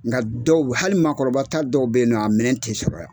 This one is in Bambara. Nka dɔw hali maakɔrɔbata dɔw beynɔ na a minɛ ti sɔrɔ yan.